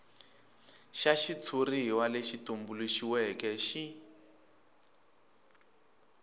xa xitshuriwa lexi tumbuluxiweke xi